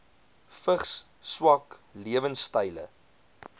vigs swak lewensstyle